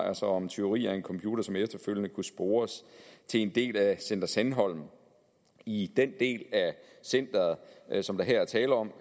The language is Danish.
altså om tyveri af en computer som efterfølgende kunne spores til en del af center sandholm i den del af centeret som der her er tale om